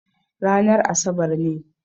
Ranar asabar ne.